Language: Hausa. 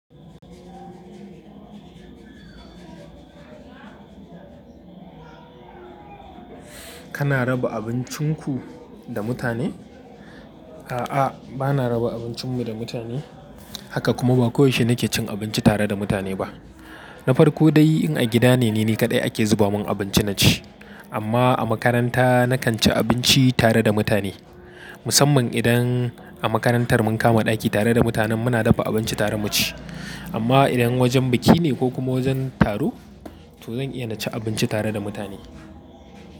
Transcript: Kana raba abincin ku da mutane? A'a, ba na raba abincin mu da mutane. Haka kuma ba koyaushe nake cin abinci tare da mutane ba. Na farko dai in a gida ne, ni kaɗai ake zuba min abinci na ci. Amma a makaranta na kan ci abinci tare da mutane. Musamman idan a makarantar mun kama ɗaki tare da mutanen muna dafa abinci tare mu ci. Amma idan wajen biki ne ko kuma wajen taro, to zan iya na ci abinci tare da mutane.